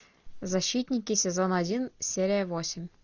защитники сезон один серия восемь